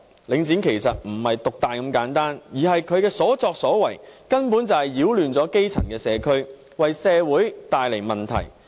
領展其實不是獨大這麼簡單，而是它的所作所為根本就是擾亂基層社區，為社會帶來問題。